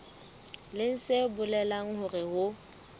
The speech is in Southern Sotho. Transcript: leng se bolelang hore ho